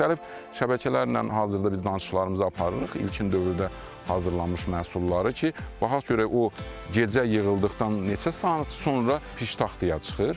Müxtəlif şəbəkələrlə hazırda biz danışıqlarımızı aparırıq ilkin dövrdə hazırlanmış məhsulları ki, baxaq görək o gecə yığıldıqdan neçə saat sonra piştaxtaya çıxır.